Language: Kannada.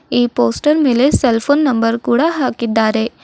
ಈ ಪೋಸ್ಟಲ್ ಮೇಲೆ ಸೆಲ್ ಫೋನ್ ನಂಬರ್ ಕೂಡ ಹಾಕಿದ್ದಾರೆ.